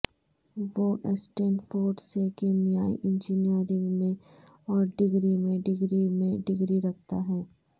وہ اسٹینفورڈ سے کیمیائی انجنیئرنگ میں اور ڈگری میں ڈگری میں ڈگری رکھتا ہے